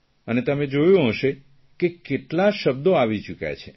અને તમે જોયું હશે કેટલા શબ્દો આવી ચૂક્યા છે